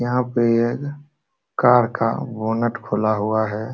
यहाँ पे एक कार का बनेट खुला हुआ है।